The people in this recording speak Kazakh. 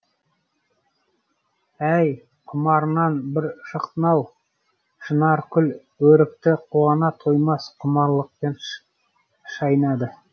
әй құмарыңнан бір шықтың ау шынаркүл өрікті қуана тоймас құмарлықпен шайнады